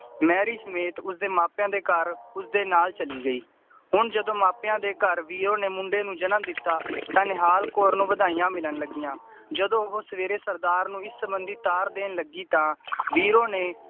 Mary ਸਮੇਤ ਉਸਦੇ ਮਾਪਿਆਂ ਦੇ ਘਰ ਉਸਦੇ ਨਾਲ ਚਲੀ ਗਈ ਹੁਣ ਜਦੋਂ ਮਾਪਿਆਂ ਦੇ ਘਰ ਵੀਰੋ ਨੇ ਮੁੰਡੇ ਨੂੰ ਜਨਮ ਦਿੱਤਾ ਤਾਂ ਨਿਹਾਲ ਕੌਰ ਨੂੰ ਵਧਾਈਆਂ ਮਿਲਣ ਲੱਗੀਆਂ ਜਦੋਂ ਉਹ ਸਵੇਰੇ ਸਰਦਾਰ ਨੂੰ ਇਸ ਸੰਬੰਧੀ ਤਾਰ ਦੇਣ ਲੱਗੀ ਤਾਂ ਵੀਰੋ ਨੇ